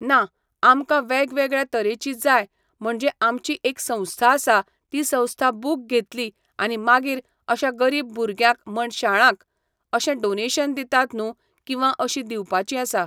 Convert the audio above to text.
ना, आमकां वेग वेगळ्या तरेचीं जाय म्हणचे आमची एक संस्था आसा ती संस्था बूक घेतली आनी मागीर अश्या गरीब भुरग्यांक म्हण शाळांक अशे डोनेशन दितात न्हू किंवा अशीं दिवपाचीं आसा .